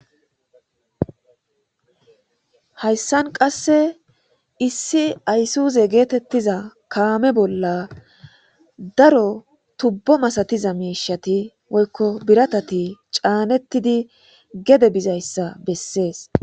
Hayissan qase aysuze getetiza kame bolla daro tubo masatiza mishshati woyikko biratati canetidi gede bizayissa beses